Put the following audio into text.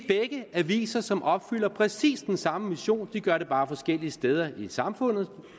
aviser som opfylder præcis den samme mission de gør det bare forskellige steder i samfundet